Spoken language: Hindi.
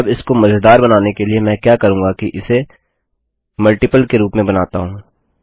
अब इसको मज़ेदार बनाने के लिए मैं क्या करूंगी कि इसे गुणजके रूप में बनाता हूँ